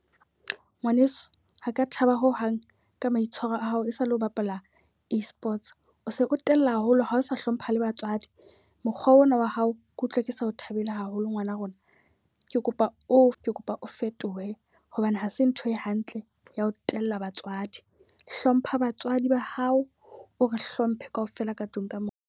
Ngwaneso ha ke a thaba ho hang ka maitshwaro a hao e sa le ho bapala e-Sports. O se o tella haholo ha o sa hlompha le batswadi, mokgwa ona wa hao ke utlwa ke sa o thabele haholo ngwana rona. Ke kopa o ke kopa o fetohe hobane hase ntho e hantle ya ho tella batswadi. Hlompha batswadi ba hao, o re hlomphe ka ofela ka tlung ka mona.